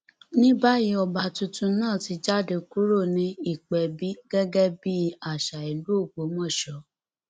ní báyìí ọba tuntun náà ti jáde kúrò ní ìpẹbí gẹgẹ bíi àṣà ìlú ògbómọṣọ